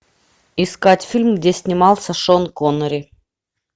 искать фильм где снимался шон коннери